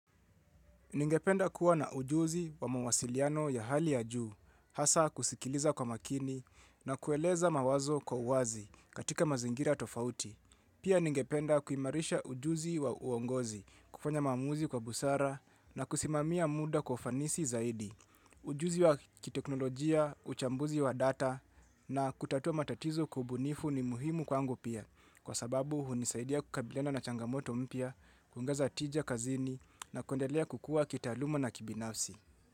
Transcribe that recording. Ningependa kuwa na ujuzi wa mawasiliano ya hali ya juu, hasa kusikiliza kwa makini na kueleza mawazo kwa uwazi katika mazingira tofauti. Pia ningependa kuimarisha ujuzi wa uongozi, kufanya maamuzi kwa busara na kusimamia muda kwa ufanisi zaidi. Ujuzi wa kiteknolojia, uchambuzi wa data na kutatua matatizo kwa ubunifu ni muhimu kwangu pia. Kwa sababu hunisaidia kukabiliana na changamoto mpya, kuongeza tija kazini na kuendelea kukua kitaaluma na kibinafsi.